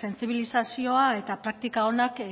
sentsibilizazioa eta praktika onak